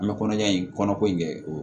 An bɛ kɔnɔja in kɔnɔ ko in kɛ o